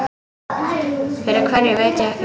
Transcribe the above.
Fyrir hverju veit ég ekki.